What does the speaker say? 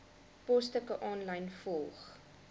posstukke aanlyn volg